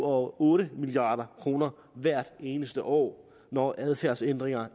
og otte milliard kroner hvert eneste år når adfærdsændringer